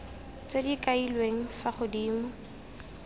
tse di kailweng fa godimo